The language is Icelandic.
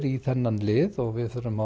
í þennan lið og við þurfum